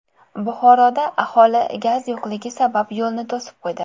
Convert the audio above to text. Buxoroda aholi gaz yo‘qligi sabab yo‘lni to‘sib qo‘ydi .